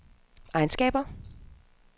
egenskaber